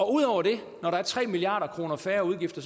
ud over det når der er tre milliard kroner færre udgifter